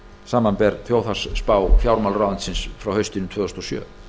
samanber þjóðhagsspá fjármálaráðuneytisins frá haustinu tvö þúsund og sjö